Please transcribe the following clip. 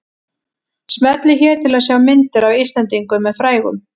Smellið hér til að sjá myndir af Íslendingum með frægum